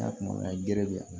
gɛrɛ bɛ yan